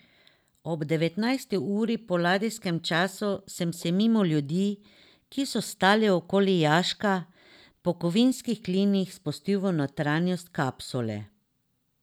Ob devetnajsti uri po ladijskem času sem se mimo ljudi, ki so stali okoli jaška, po kovinskih klinih spustil v notranjost kapsule.